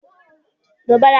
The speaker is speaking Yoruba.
Béèni èrù ejò n ba mi